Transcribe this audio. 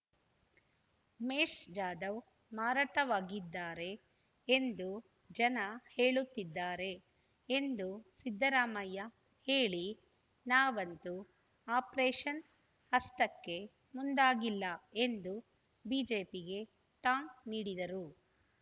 ಉಮೇಶ್ ಜಾಧವ್ ಮಾರಾಟವಾಗಿದ್ದಾರೆ ಎಂದು ಜನ ಹೇಳುತ್ತಿದ್ದಾರೆ ಎಂದು ಸಿದ್ದರಾಮಯ್ಯ ಹೇಳಿ ನಾವಂತೂ ಆಪರೇಷನ್ ಹಸ್ತಕ್ಕೆ ಮುಂದಾಗಿಲ್ಲ ಎಂದು ಬಿಜೆಪಿಗೆ ಟಾಂಗ್ ನೀಡಿದರು